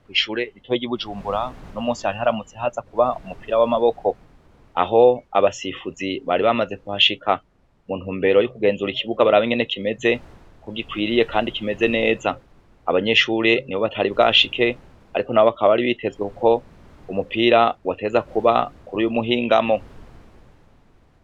Kwishure rito ryi bujumbura unomunsi hari haramutse hazakuba umupira wamaboko aho abasifuzi bari bamaze kuhashika muntumbero yo kugenzura ikibuga barabe ingene kimeze ko gikwiye kandi kimeze neza abanyeshure nibo batari bwashike ariko nabo bakaba bari bitezwe kuko umupira wategerezwa kuba kuruyu muhingamo